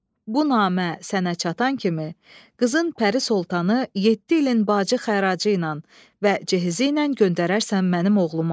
Bu namə sənə çatan kimi qızın Pəri Soltanı yeddi ilin bacı xəracı ilə və cəhizi ilə göndərərsən mənim oğluma.